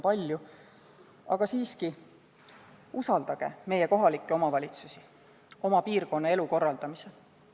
Aga siiski, usaldage meie kohalikke omavalitsusi oma piirkonna elu korraldamisel.